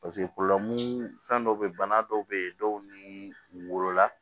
fɛn dɔ be yen bana dɔw be yen dɔw ni wolola